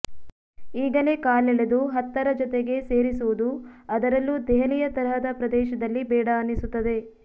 ಈಗಲೇ ಕಾಲೆಳೆದು ಹತ್ತರ ಜೊತೆಗೆ ಸೇರಿಸುವುದು ಅದರಲ್ಲೂ ದೆಹಲಿಯ ತರಹದ ಪ್ರದೇಶದಲ್ಲಿ ಬೇಡ ಅನ್ನಿಸುತ್ತದೆ